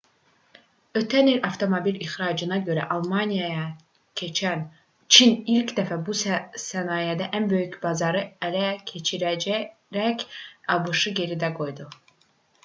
ötən il avtomobil ixracına görə almaniyanı keçən çin ilk dəfə bu sənayedə ən böyük bazarı ələ keçirərək abş-ı geridə qoydu